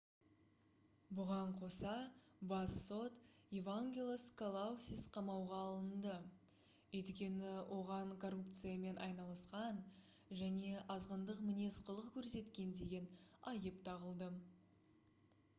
бұған қоса бас сот евангелос калоусис қамауға алынды өйткені оған коррупциямен айналысқан және азғындық мінез-құлық көрсеткен деген айып тағылды